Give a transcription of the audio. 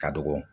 Ka dɔgɔ